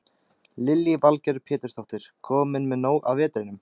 Lillý Valgerður Pétursdóttir: Kominn með nóg af vetrinum?